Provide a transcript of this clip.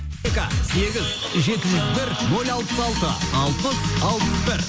сегіз жеті жүз бір нөл алпыс алты алпыс алпыс бір